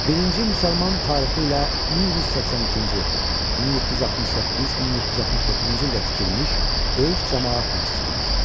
Birinci müsəlman tarixi ilə 1182-ci, 1768, 1769-cu ildə tikilmiş böyük camaat məscididir.